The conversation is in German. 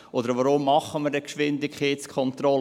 Oder weshalb machen wir denn Geschwindigkeitskontrollen?